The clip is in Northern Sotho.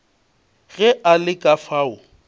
ge a le ka fao